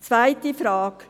Zweite Frage: